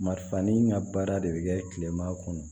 Marifani ŋa baara de bɛ kɛ kilema kɔnɔ